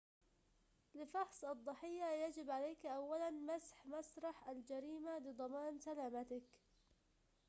لفحص الضحية يجب عليك أولاً مسح مسرح الجريمة لضمان سلامتك